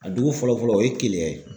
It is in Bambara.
A dugu fɔlɔ fɔlɔ o ye keleya ye